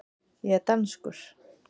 Ég er danskur.